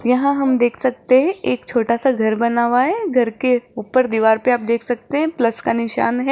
यहां हम देख सकते हैं एक छोटा सा घर बना हुआ है। घर के ऊपर दीवार पर आप देख सकते हैं प्लस का निशान है।